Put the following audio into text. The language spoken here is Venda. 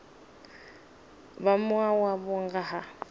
vha mua wavho nga ha